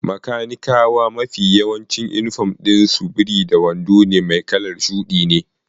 Bakanikawa mafi yawancin inifom ɗin su biri da wando mai kalar shuɗi ne.